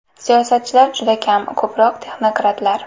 Siyosatchilar juda kam, ko‘proq texnokratlar.